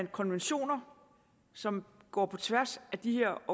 konventioner som går på tværs af de her